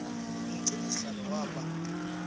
umgcini sihlalo waba